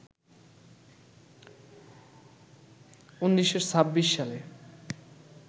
১৯২৬ সালে